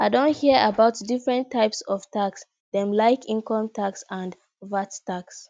i don hear about different types of tax dem like income tax and vat tax